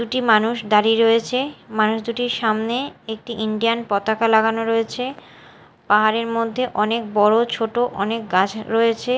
দুটি মানুষ দাঁড়িয়ে রয়েছে মানুষ দুটির সামনে একটি ইন্ডিয়ান পতাকা লাগানো রয়েছে পাহাড়ের মধ্যে অনেক বড় ছোট অনেক গাছ রয়েছে।